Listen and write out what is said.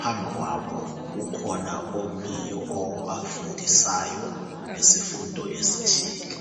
phambi kwabo kukhona omiyo obafundisayo ngesifundo esithile.